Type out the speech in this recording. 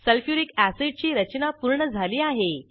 sulphuric अॅसिडची रचना पूर्ण झाली आहे